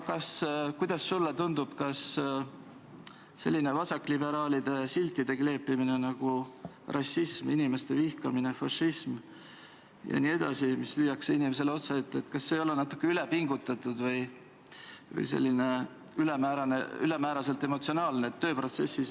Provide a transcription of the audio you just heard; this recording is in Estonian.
Aga kuidas sulle tundub, kas selliste vasakliberaalide siltide kleepimine, nagu rassism, inimeste vihkamine, fašism jne, mis lüüakse inimesele otsaette, ei ole natuke üle pingutatud või ülemäära emotsionaalne?